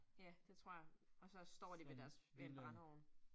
Ja, det tror jeg, og så står de ved deres, ved en brændeovn